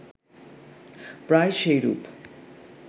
প্রায় সেইরূপ